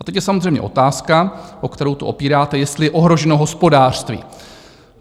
A teď je samozřejmě otázka, o kterou to opíráte, jestli je ohroženo hospodářství.